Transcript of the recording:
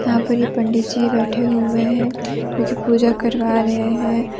यहां पर ये पंडित जी बैठे हुए हैं जो कि पूजा करवा रहे हैं।